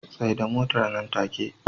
Tsaida Motar nan take